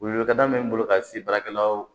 Welewelekan bɛ n bolo ka se baarakɛlaw